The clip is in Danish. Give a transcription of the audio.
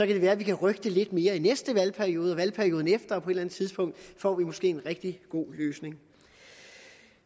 det være vi kan rykke det lidt mere i næste valgperiode og valgperioden efter og på et eller andet tidspunkt får vi måske en rigtig god løsning